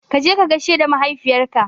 Kaje ka gaishe da mahaifiyar ka